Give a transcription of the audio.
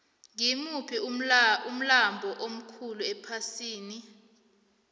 ngimuphi umlambo omkhulu ephasini